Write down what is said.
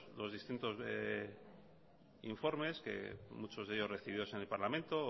los distintos informes que muchos de ellos recibidos en el parlamento o